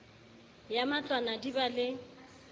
ya matlwana di ba le